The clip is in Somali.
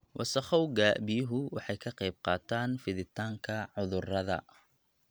Wasakhowga biyuhu waxay ka qayb qaataan fiditaanka cudurrada.